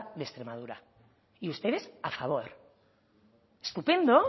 de extremadura y ustedes a favor estupendo